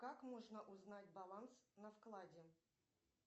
как можно узнать баланс на вкладе